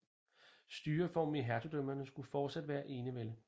Styreformen i hertugdømmerne skulle fortsat være enevælde